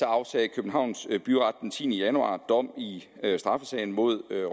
afsagde københavns byret den tiende januar dom i straffesagen mod roj